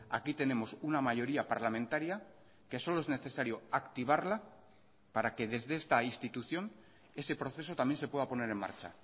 aquí tenemos una mayoría parlamentaria que solo es necesario activarla para que desde esta institución ese proceso también se pueda poner en marcha